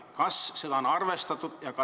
Kas on seda arvestatud?